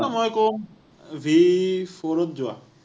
মই ক’ম VFour ত যোৱা।